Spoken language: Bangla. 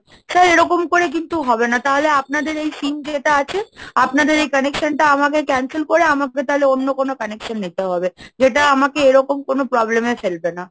sir এরকম করে কিন্তু হবে না, তাহলে আপনাদের এই সিম যেটা আছে, আপনাদের এই connection টা আমাকে cancel করে আমাকে তাহলে অন্য কোনো connection নিতে হবে, যেটা আমাকে এরকম কোনো problem এ ফেলবে না।